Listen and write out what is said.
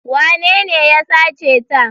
Wanene ya sace ta?